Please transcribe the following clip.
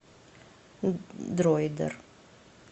дроидер